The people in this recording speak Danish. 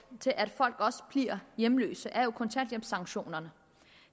til at folk bliver hjemløse er jo kontanthjælpssanktionerne